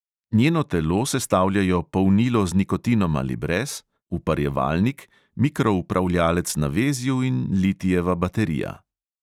Njeno telo sestavljajo polnilo z nikotinom ali brez, uparjevalnik, mikroupravljalec na vezju in litijeva baterija.